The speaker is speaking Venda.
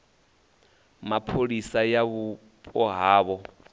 mapholisa ya vhupo ha havho